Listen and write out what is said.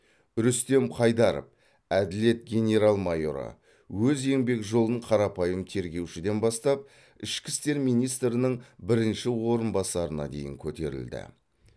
рүстем қайдаров әділет генерал майоры өз еңбек жолын қарапайым тергеушіден бастап ішкі істер министрінің бірінші орынбасарына дейін көтерілді